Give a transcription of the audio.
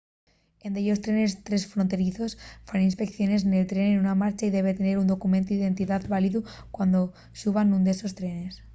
en dellos trenes tresfronterizos faen inspeiciones nel tren en marcha y debe tener un documentu d'identidá válidu cuando xuba nún d'esos trenes